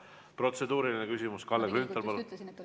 Protseduuriline küsimus, Kalle Grünthal, palun!